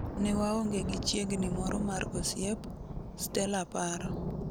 Newaonge gi chiegni moro mar osiep ,Stella paro.